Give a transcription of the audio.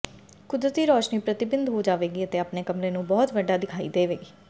ਕੁਦਰਤੀ ਰੌਸ਼ਨੀ ਪ੍ਰਤੀਬਿੰਬ ਹੋ ਜਾਵੇਗੀ ਅਤੇ ਆਪਣੇ ਕਮਰੇ ਨੂੰ ਬਹੁਤ ਵੱਡਾ ਵਿਖਾਈ ਦੇਵੇਗੀ